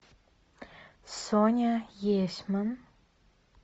соня есьман